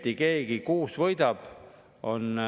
Siis on ju vaja võimalust ja vahendeid, et ka laenu saada.